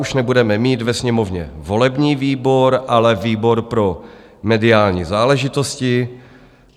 Už nebudeme mít ve Sněmovně volební výbor, ale výbor pro mediální záležitosti.